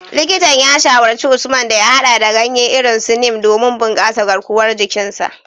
Likitan ya shawarci Usman da ya hada da ganye irin su Neem domin bunkasa garkuwar jikin sa.